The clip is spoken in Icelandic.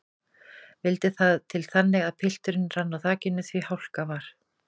Vildi það til þannig að pilturinn rann á þakinu því hálka var.